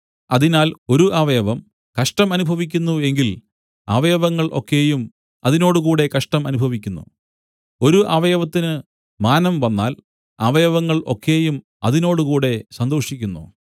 അതിനാൽ ഒരു അവയവം കഷ്ടം അനുഭവിക്കുന്നു എങ്കിൽ അവയവങ്ങൾ ഒക്കെയും അതിനോടുകൂടെ കഷ്ടം അനുഭവിക്കുന്നു ഒരു അവയവത്തിന് മാനം വന്നാൽ അവയവങ്ങൾ ഒക്കെയും അതിനോടുകൂടെ സന്തോഷിക്കുന്നു